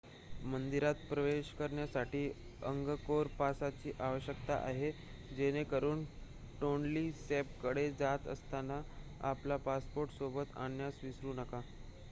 मंदिरात प्रवेश करण्यासाठी अंगकोर पासची आवश्यकता आहे जेणेकरून टोन्ली सॅपकडे जात असताना आपला पासपोर्ट सोबत आणण्यास विसरू नका